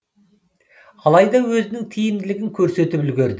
алайда өзінің тиімділігін көрсетіп үлгерді